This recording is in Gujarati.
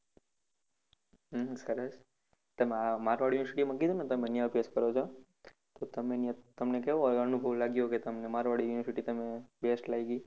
સરસ તમે મારવાડી university માં કીધુને તમે ત્યાં અભ્યાસ કરો છો તો તમને કેવો અનુભવ લાગ્યો કે તમને મારવાડ university best લાગી